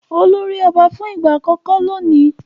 Olú rí ọba fún ìgbà àkọ́kọ́ lónìí.